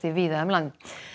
víða um land